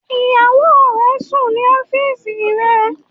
Ìyàwó re n sùn ní ọ́fìsì rẹ